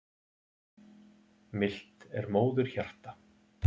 Milt er móðurhjarta.